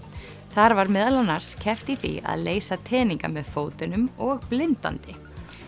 þar var meðal annars keppt í því að leysa teninga með fótunum og blindandi